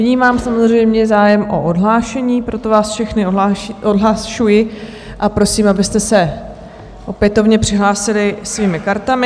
Vnímám samozřejmě zájem o odhlášení, proto vás všechny odhlašuji a prosím, abyste se opětovně přihlásili svými kartami.